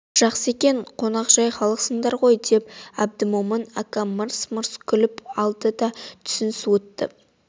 жақсы екен қонақжай халықсыңдар ғой деп әбдмомын ака мырс-мырс күліп алды да түсін суытты